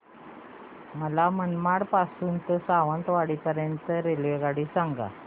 मला मनमाड पासून तर सावंतवाडी पर्यंत ची रेल्वेगाडी सांगा